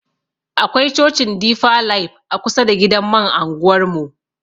Akwai cocin difa laif a kusa da gidan man anguwar mu.